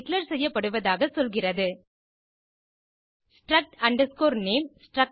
declare செய்யப்படுவதாக சொல்கிறது struct name